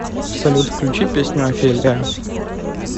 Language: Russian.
салют включи песню офелия